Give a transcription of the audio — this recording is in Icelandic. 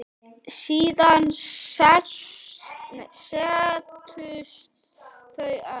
Síðan settust þau öll.